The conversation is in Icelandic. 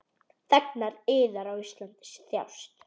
Þegnar yðar á Íslandi þjást.